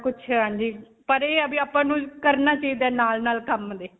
ਕੁਝ ਹਾਂਜੀ ਆਪਾਂ ਨੂੰ ਕਰਨਾ ਚਾਹਿਦਾ ਹੈ ਨਾਲ-ਨਾਲ ਕੰਮ ਦੇ